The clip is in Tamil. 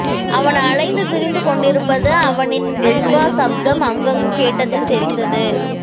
அவன் அலைந்து திரிந்து கொண்டிருப்பது அவனின் வெஸ்பா சப்தம் அங்கங்கு கேட்டதில் தெரிந்தது